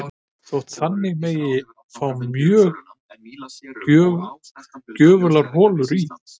Þótt þannig megi fá mjög gjöfular holur í